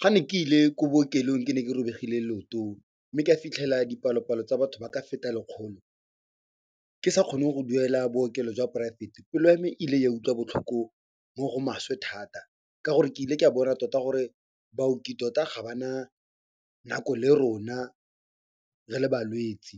Ga ne ke ile ko bookelong ke ne ke robegile leoto, mme ka fitlhela dipalopalo tsa batho ba ka feta lekgolo ke sa kgone go duela bookelo jwa poraefete, pelo ya me ile ya utlwa botlhoko mo go maswe thata ka gore ke ile ke a bona tota gore baoki tota ga ba na nako le rona re le balwetsi.